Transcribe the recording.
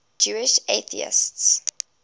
jewish atheists